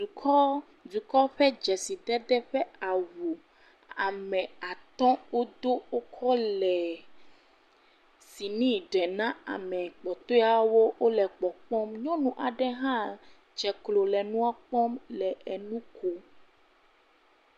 Dukɔ. Dɔkɔ ƒe dzesidede ƒe awu. Ame atɔ̃ wodo wokɔ le sini ɖem na ame kpɔtɔewo wole kpɔkpɔm. Nyɔnu aɖe hã dze klo le enua kpɔm le enu kom.